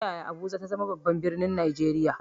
Ta yaya Abuja ta zama babban birnin Najeriya?